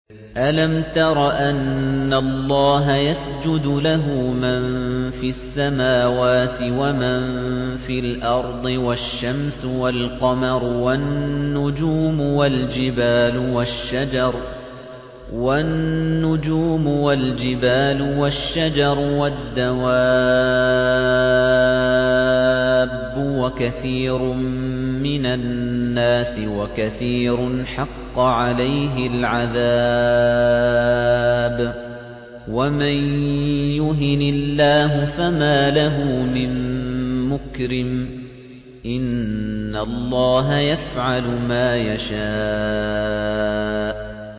أَلَمْ تَرَ أَنَّ اللَّهَ يَسْجُدُ لَهُ مَن فِي السَّمَاوَاتِ وَمَن فِي الْأَرْضِ وَالشَّمْسُ وَالْقَمَرُ وَالنُّجُومُ وَالْجِبَالُ وَالشَّجَرُ وَالدَّوَابُّ وَكَثِيرٌ مِّنَ النَّاسِ ۖ وَكَثِيرٌ حَقَّ عَلَيْهِ الْعَذَابُ ۗ وَمَن يُهِنِ اللَّهُ فَمَا لَهُ مِن مُّكْرِمٍ ۚ إِنَّ اللَّهَ يَفْعَلُ مَا يَشَاءُ ۩